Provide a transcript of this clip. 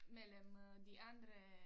Mellem øh de andre